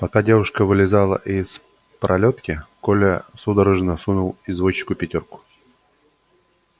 пока девушка вылезала из пролётки коля судорожно сунул извозчику пятёрку